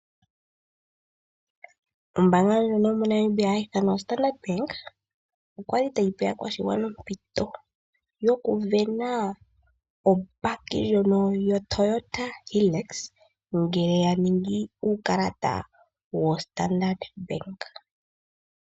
Ombaanga ndjika yo moNmaibia hayi ithanwa Standrard Bank oyali tayi pe aakwashigwana ompito yo kuvena obakkie ndjono yoToyota Hilux ngele yaningi uukalata wo Standard Bank.